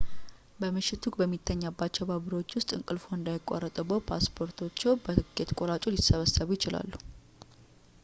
በምሽቱ በሚተኛባቸው ባቡሮች ውስጥ እንቅልፍዎ እንዳይቋረጥብዎት ፓስፖርቶች በቲኬት ቆራጩ ሊሰበሰቡ ይችላሉ